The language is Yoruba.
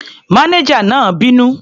Mánéjà náà bínú.